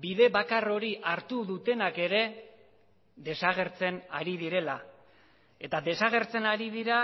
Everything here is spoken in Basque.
bide bakar hori hartu dutenak ere desagertzen ari direla eta desagertzen ari dira